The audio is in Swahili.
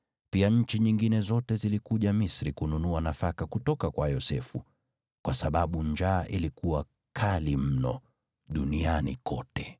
Pia nchi nyingine zote zilikuja Misri kununua nafaka kutoka kwa Yosefu, kwa sababu njaa ilikuwa kali mno duniani kote.